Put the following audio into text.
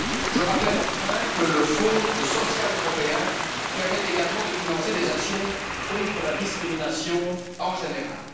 Je rappelle enfin que le Fonds social européen permet également de financer des actions contre la discrimination en général.